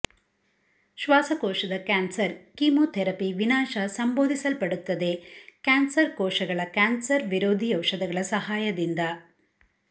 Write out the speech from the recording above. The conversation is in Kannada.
ಶ್ವಾಸಕೋಶದ ಕ್ಯಾನ್ಸರ್ ಕೆಮೊಥೆರಪಿ ವಿನಾಶ ಸಂಬೋಧಿಸಲ್ಪಡುತ್ತದೆ ಕ್ಯಾನ್ಸರ್ ಕೋಶಗಳ ಕ್ಯಾನ್ಸರ್ ವಿರೋಧಿ ಔಷಧಗಳ ಸಹಾಯದಿಂದ